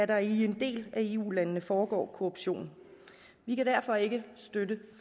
der i en del af eu landene foregår korruption vi kan derfor ikke støtte